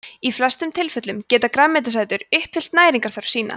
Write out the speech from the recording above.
í flestum tilfellum geta grænmetisætur uppfyllt næringarþörf sína